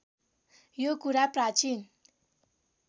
यो कुरा प्राचीन